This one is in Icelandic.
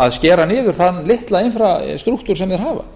að skera niður þann litla infrastructur sem þeir hafa